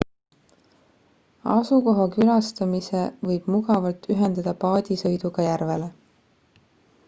asukoha külastamise võib mugavalt ühendada paadisõiduga järvele